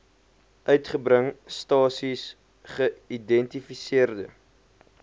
uitgebring stasies geïdentifiseerde